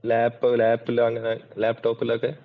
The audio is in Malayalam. ലാപ്ലാപ്പിലോ അങ്ങനെ ലാപ്ടോപ്പിലോക്കെ.